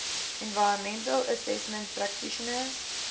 environmental assessment practitioners